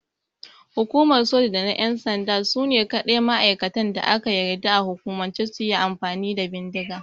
Hukumar Soji da na ƴan sanda sune kaɗai ma'aikatan da aka yarda a hukumance suyi amfani da bindiga.